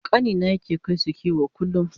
ƙanina yake kaisu kiwo kullum